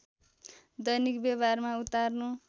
दैनिक व्यवहारमा उतार्नु